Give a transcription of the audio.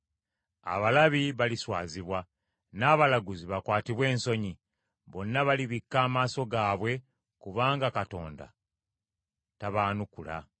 Abalabi baliswazibwa n’abalaguzi bakwatibwe ensonyi. Bonna balibikka amaaso gaabwe kubanga Katonda tabaanukula.”